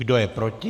Kdo je proti?